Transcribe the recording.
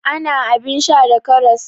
Ana abin sha da karas.